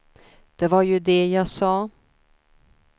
Det var ju det jag sa.